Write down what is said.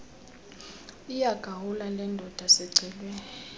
iyagula lendoda sicelwe